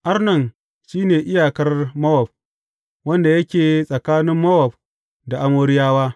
Arnon shi ne iyakar Mowab, wanda yake tsakanin Mowab da Amoriyawa.